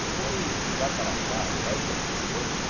Depois, de lá para cá, dez anos depois, né?